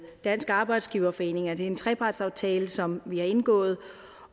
dansk arbejdsgiverforening det er en trepartsaftale som vi har indgået